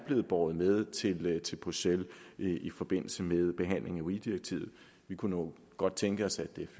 båret med til til bruxelles i i forbindelse med behandlingen af weee direktivet vi kunne nu godt tænke os at dette